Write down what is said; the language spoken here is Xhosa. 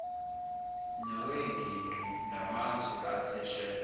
nowengingqi namazwe aphesheya